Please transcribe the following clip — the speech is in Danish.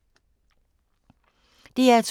DR2